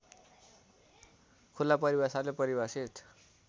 खुला परिभाषाले परिभाषित